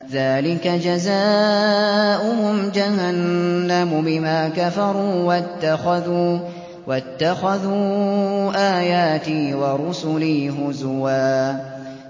ذَٰلِكَ جَزَاؤُهُمْ جَهَنَّمُ بِمَا كَفَرُوا وَاتَّخَذُوا آيَاتِي وَرُسُلِي هُزُوًا